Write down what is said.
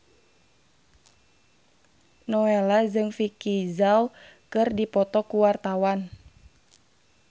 Nowela jeung Vicki Zao keur dipoto ku wartawan